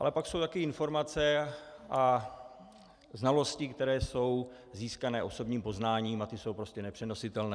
Ale pak jsou taky informace a znalosti, které jsou získané osobním poznáním, a ty jsou prostě nepřenositelné.